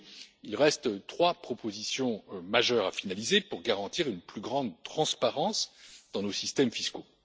Aujourd'hui, il reste trois propositions majeures à finaliser pour garantir une plus grande transparence dans nos systèmes fiscaux.